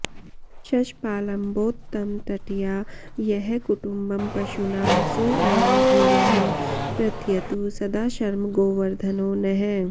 शष्पालम्बोत्तमतटया यः कुटुम्बं पशूनां सोऽयं भूयः प्रथयतु सदा शर्म गोवर्धनो नः